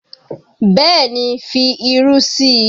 Bẹ́ẹ̀ ni, fi irú sí i